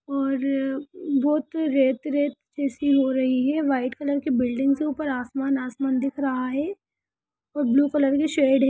और बहुत red red जैसी हो रही है| वाइट कलर की बिल्डिंग से ऊपर आसमान आसमान दिख रहा है| और ब्लू कलर की शेड है ।